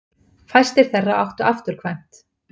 Fæstir þeirra áttu afturkvæmt.